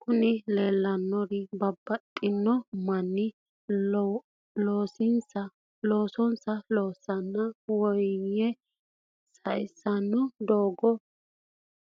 Kuni lelanori babatitino manoti loosonisa loosena woyim sayisino doga